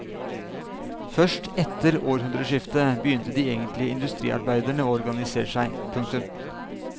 Først etter århundreskiftet begynte de egentlige industriarbeiderne å organisere seg. punktum